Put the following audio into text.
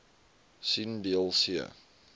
sien deel c